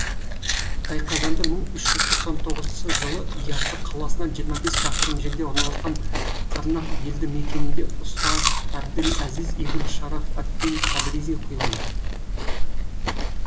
тайқазанды бір мың үш жүз тоқсан тоғызыншы жылы и асы қаласынан жиырма бес шақырым жерде орналасқан қарнақ елді мекенінде ұста әбділәзіз ибн шараф ад дин табризи құйған